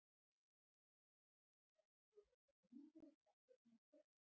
Helga: Heldurðu að það sé einhver heimilislaus eftir þennan skjálfta?